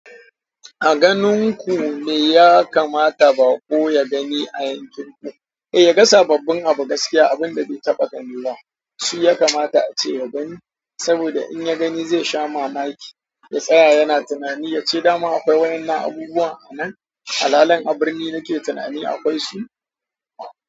A ganin ku me ya kamata baƙo ya gani a yankin ku? Eh, ya ga sababbin abu, gaskiya abun da bai taɓa gani ba, su ya kamata a ce ya gani saboda in ya gani zai sha mamaki, ya tsaya yana tunani, ya ce dama akwai wa'inan abubuwan a nan. Halalen a birni nake tunani akwai su.